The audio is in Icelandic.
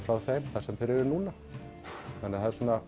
frá þeim þar sem þeir eru núna þannig að það er svona